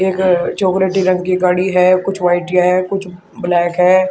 एक चॉकलेटी रंग की गाड़ी है कुछ व्हाटिया हैं कुछ ब्लैक है।